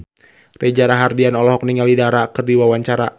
Reza Rahardian olohok ningali Dara keur diwawancara